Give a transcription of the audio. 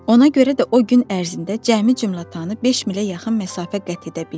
Ona görə də o gün ərzində cəmi cümətanı 5 milə yaxın məsafə qət edə bildi.